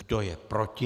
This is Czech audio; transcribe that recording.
Kdo je proti?